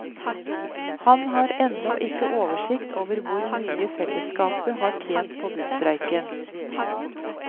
Han har ennå ikke oversikt over hvor mye selskapet har tjent på busstreiken.